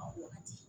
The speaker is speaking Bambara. wagati